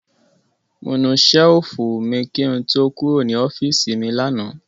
Mo nu ṣẹ́lífù mi kí n tó kúrò ní ọ́fíísì mi lánàá.